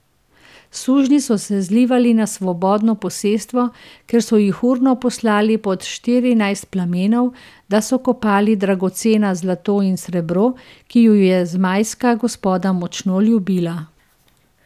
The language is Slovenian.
Sužnji so se zlivali na Svobodno posestvo, kjer so jih urno poslali pod Štirinajst plamenov, da so kopali dragocena zlato in srebro, ki ju je zmajska gospoda močno ljubila.